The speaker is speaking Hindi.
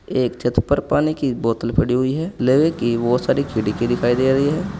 एक छत पर पानी की बोतल पड़ी हुई है। लोहे की बहुत सारी खिड़की दिखाई दे रही है।